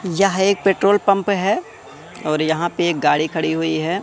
यह एक petrol pump है और यहां पे एक गाड़ी खड़ी हुई है।